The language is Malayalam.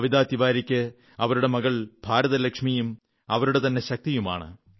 കവിതാ തിവാരിക്ക് അവരുടെ മകൾ ഭാരതലക്ഷ്മിയും അവരുടെ തന്നെ ശക്തിയുമാണ്